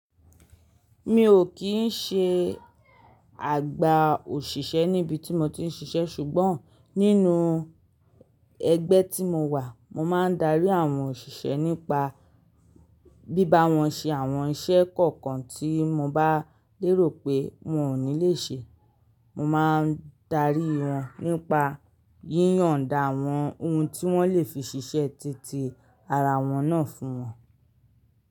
Mi ò kín ṣe àgbà òṣìṣẹ́ níbi tí mo ti ń ṣiṣẹ́ ṣùgbọ́n nínú ẹgbẹ́ tí mo wà mo máa ń darí àwọn òṣìṣẹ́ nípa bíba wọn ṣe àwọn iṣẹ́ kọ̀ọ̀kan tí mo bá lérò pé wọn ò ní le ṣe. Mo máa ń darí wọn nípa yíyọ̀nda àwọn ohun tí wọ́n lè fi ṣiṣẹ́ titi ara wọn náà fún wọn.